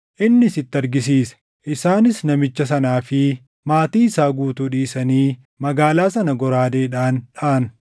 Innis itti argisiise; isaanis namicha sanaa fi maatii isaa guutuu dhiisanii magaalaa sana goraadeedhaan dhaʼan.